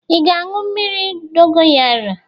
Ị ga-aṅụ mmiri dogoyara?